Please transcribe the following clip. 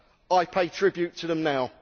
I pay tribute to them now.